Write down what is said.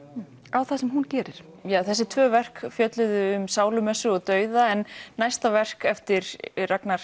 á það sem hún gerir þessi tvö verk fjölluðu um sálumessu og dauða en næsta verk eftir Ragnar